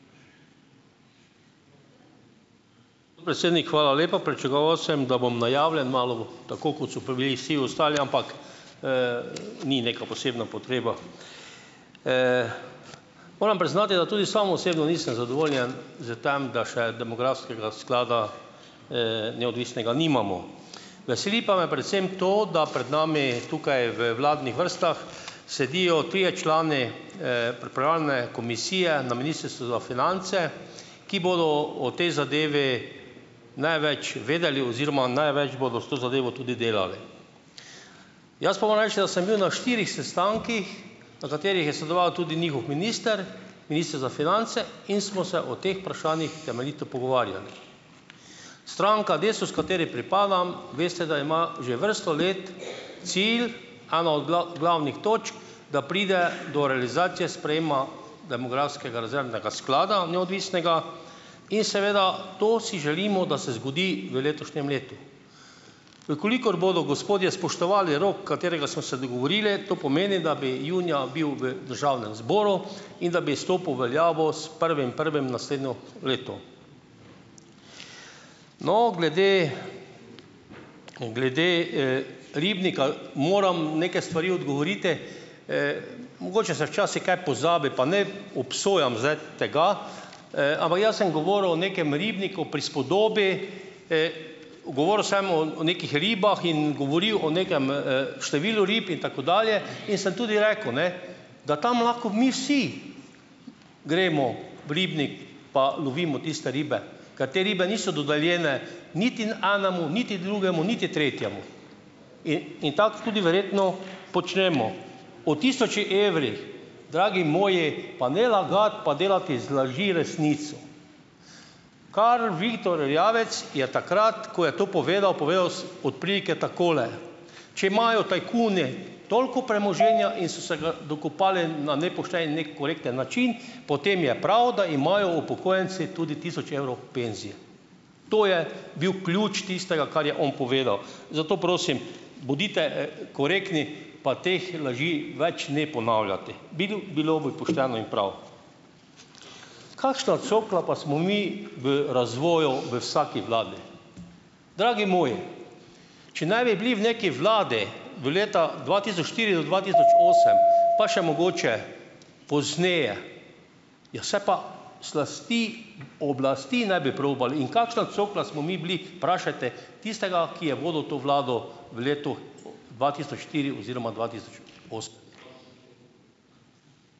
Podpredsednik, hvala lepa. Pričakoval sem, da bom najavljen, malo tako, kot so bili vsi ostali, ampak, ni neka posebna potreba. Moram priznati, da tudi sam osebno nisem zadovoljen s tem, da še demografskega sklada, neodvisnega nimamo. Veseli pa me predvsem to, da pred nami tukaj v vladnih vrstah sedijo trije člani, pripravljene komisije na Ministrstvu za finance, ki bodo o tej zadevi največ vedeli oziroma največ bodo s to zadevo tudi delali. Jaz pa moram reči, da sem bil na štirih sestankih, na katerih je sodeloval tudi njihov minister, minister za finance, in smo se o teh vprašanjih temeljito pogovarjali. Stranka Desus, kateri pripadam, veste, da ima že vrsto let cilj, eno od glavnih točk, da pride do realizacije sprejema demografskega rezervnega sklada, neodvisnega, in seveda to si želimo, da se zgodi v letošnjem letu. V kolikor bodo gospodje spoštovali rok, katerega smo se dogovorili, to pomeni, da bi junija bil v državnem zboru in da bi stopil v veljavo s prvim prvim naslednje leto. No, glede glede, ribnika, moram nekaj stvari odgovoriti. Mogoče se včasih kaj pozabi, pa ne obsojam zdaj tega, ampak jaz sem govoril o nekem ribniku, prispodobi. Govoril sem o nekih ribah in govoril o nekem, številu rib in tako dalje. In sem tudi rekel, ne, da tam lahko mi vsi gremo v ribnik, pa lovimo tiste ribe, ker te ribe niso dodeljene niti enemu, niti drugemu, niti tretjemu. in tako tudi verjetno počnemo. O tisoči evrih, dragi moji, pa ne lagati pa delati iz laži resnico. Karel Viktor Erjavec je takrat, ko je to povedal, povedal od prilike takole: "Če imajo tajkuni toliko premoženja in so se ga dokopali na nepošten, nekorekten način, potem je prav, da imajo upokojenci tudi tisoč evrov penzije." To je bil ključ tistega, kar je on povedal. Zato prosim, bodite, korektni, pa teh laži več ne ponavljati. Bilo bilo bi pošteno in prav. Kakšna cokla pa smo mi v razvoju v vsaki vladi? Dragi moji, če ne bi bili v neki vladi v letih dva tisoč štiri do dva tisoč osem, pa še mogoče pozneje, ja, saj pa slasti oblasti ne bi probali. In kakšna cokla smo mi bili, vprašajte tistega, ki je vodil to vlado v letu dva tisoč štiri oziroma dva tisoč osem.